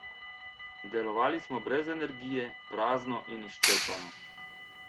Delovali smo brez energije, prazno in izčrpano.